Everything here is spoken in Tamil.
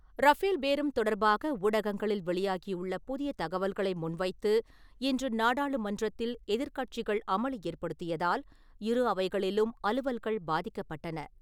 ரஃபேல் பேரம் தொடர்பாக ஊடகங்களில் வெளியாகியுள்ள புதிய தகவல்களை முன்வைத்து இன்று நாடாளுமன்றத்தில் எதிர்கட்சிகள் அமளி ஏற்படுத்தியதால், இரு அவைகளிலும் அலுவல்கள் பாதிக்கப் பட்டன.